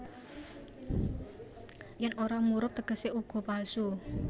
Yèn ora murub tegesé uga palsu